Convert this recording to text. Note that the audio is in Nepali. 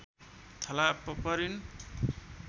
थला परिन्